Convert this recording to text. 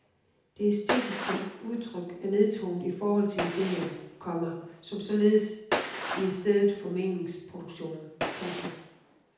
Det æstetiske udtryk er nedtonet i forhold til idéerne, komma som således bliver stedet for meningsproduktion. punktum